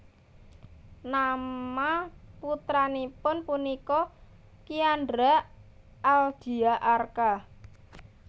Nama putranipun punika Kiandra Aldia Arka